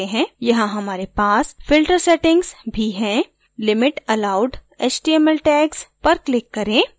यहाँ हमारे पास filter settings भी है limit allowed html tags पर click करें